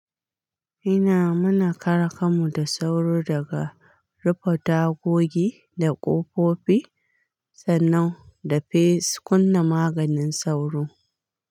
Ina muna kare kanmu da sauro daga rufe tagogi da ƙofofi sannan da fes kunna maganin sauro.